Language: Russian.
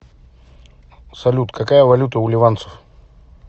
салют какая валюта у ливанцев